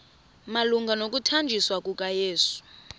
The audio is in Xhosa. malunga nokuthanjiswa kukayesu